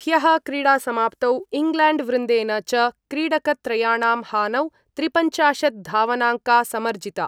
ह्यः क्रीड़ासमाप्तौ इंग्लैंड वृन्देन च क्रीडकत्रयाणां हानौ त्रिपंचाशत् धावनांका समर्जिता।